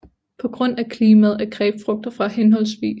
På grund af klimaet er grapefrugter fra hhv